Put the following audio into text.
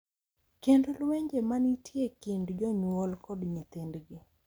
Kendo lwenje ma nitie e kind jonyuol kod nyithindgi.